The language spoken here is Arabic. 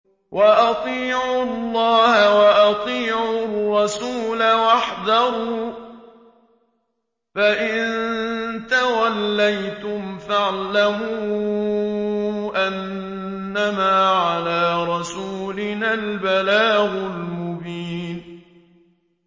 وَأَطِيعُوا اللَّهَ وَأَطِيعُوا الرَّسُولَ وَاحْذَرُوا ۚ فَإِن تَوَلَّيْتُمْ فَاعْلَمُوا أَنَّمَا عَلَىٰ رَسُولِنَا الْبَلَاغُ الْمُبِينُ